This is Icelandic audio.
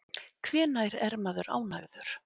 Hvenær er maður ánægður?